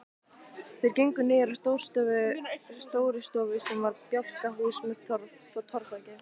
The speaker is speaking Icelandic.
Þeir gengu niður að Stórustofu sem var bjálkahús með torfþaki.